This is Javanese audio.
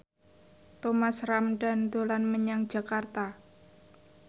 Thomas Ramdhan dolan menyang Jakarta